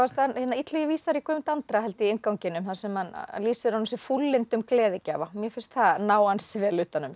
Illugi vísar í Guðmund Andra held ég í innganginum þar sem hann lýsir honum sem fúllyndum gleðigjafa mér finnst það ná ansi vel utan um